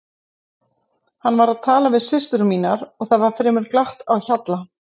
Hann var að tala við systur mínar og það var fremur glatt á hjalla.